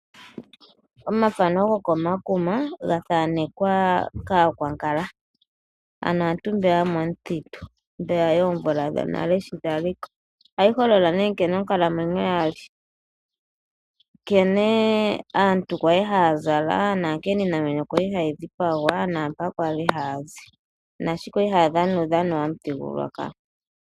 Omathano gokomakuma ga thanekwa kAakwankala, aantu mboka yomomuthitu mboka yoomvula dhonale shi dha li ko. Ohaga holola nkene onkalamwenyo ya li, nkene aantu ya li haya zala, nkene iinamwenyo ya li hayi dhipagwa, mpoka ya li haya zi nankene ya li haya dhana uudhano womuthigululwakalo.